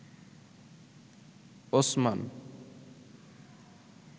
Osman